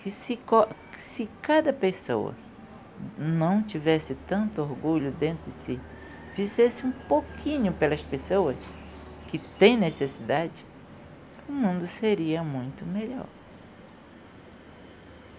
que se co, se cada pessoa não tivesse tanto orgulho dentro de si, fizesse um pouquinho pelas pessoas que têm necessidade, o mundo seria muito melhor.